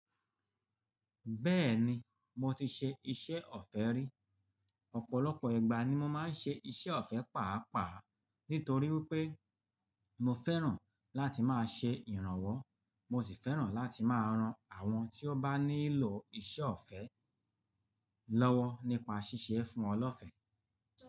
Bẹ́ẹ̀ni, mo ti ṣe iṣẹ́ ọ̀fẹ́ rí. Ọ̀pọ̀lọpọ̀ igba ni mo máa ń ṣe iṣẹ́ ọ̀fẹ́ pàápàá nítorí pé mo fẹ́ràn láti máa ṣe ìrànwọ́, mo sì fẹ́ràn láti máa ran àwọn tí ó bá nílò iṣẹ́ ọ̀fẹ́ lọ́wọ́ nípa ṣíṣe fún wan lọ́fẹ́.